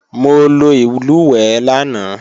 Mo lo ìlùwẹ̀ẹ̀ lánàá